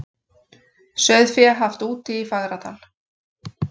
Sauðfé haft úti í Fagradal